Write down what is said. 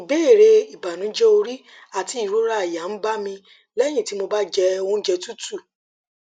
ìbéèrè ìbànújẹ orí àti ìrora àyà ń bá mi lẹyìn tí mo bá jẹ oúnjẹ tútù